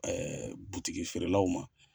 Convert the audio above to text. butigieerelaw ma.